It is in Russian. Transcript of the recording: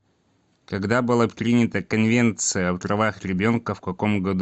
когда была принята конвенция о правах ребенка в каком году